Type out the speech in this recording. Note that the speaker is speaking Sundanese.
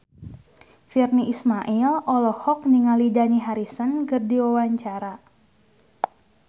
Virnie Ismail olohok ningali Dani Harrison keur diwawancara